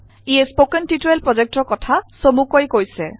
ইয়ে spoken tutorial প্ৰজেক্টৰ কথা চমুকৈ কৈছে